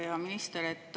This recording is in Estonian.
Hea minister!